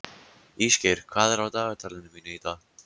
Ísgeir, hvað er á dagatalinu mínu í dag?